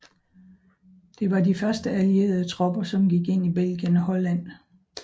Det var de første allierede tropper som gik ind i Belgien og Holland